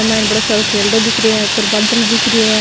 ईम बड़ो सारो खेरड़ो दिख रो है ऊपर बादल दिख रा है।